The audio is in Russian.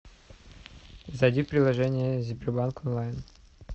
зайди в приложение сбербанк онлайн